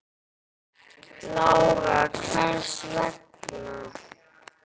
Lára: Hvers vegna?